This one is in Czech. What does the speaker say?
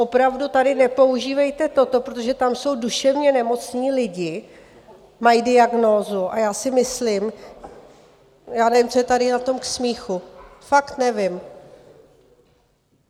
Opravdu tady nepoužívejte toto, protože tam jsou duševně nemocní lidi, mají diagnózu a já si myslím, já nevím, co je tady na tom k smíchu, fakt nevím.